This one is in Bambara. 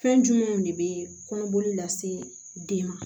Fɛn jumɛnw de bɛ kɔnɔboli lase den ma